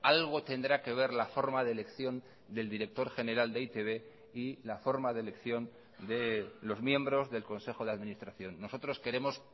algo tendrá que ver la forma de elección del director general de e i te be y la forma de elección de los miembros del consejo de administración nosotros queremos